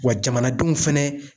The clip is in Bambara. Wa jamanadenw fɛnɛ